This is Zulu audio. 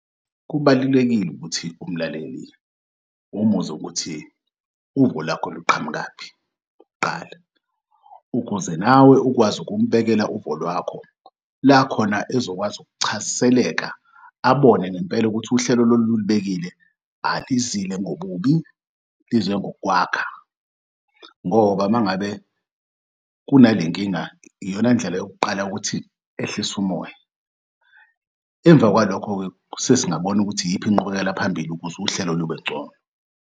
Kubalulekile ukuthi umlaleli umuzwe ukuthi uvo lakho luqhamukaphi kuqala ukuze nawe ukwazi ukumbhekela uvo lwakho lakhona ezokwazi ukuchaziseleka abone ngempela ukuthi uhlelo lolu olibekile alizile ngobubi lize ngokwakha ngoba mangabe kunalenkinga iyona ndlela yokuqala yokuthi ehlise umoya. Emva kwalokhe-ke sesingabona ukuthi iyiphi inqubekela phambili ukuze uhlelo lube ngcono.